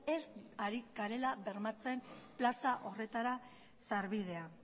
ez garela ari bermatzen plaza horretarako sarbidea